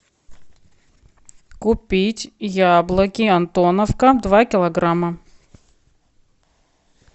купить яблоки антоновка два килограмма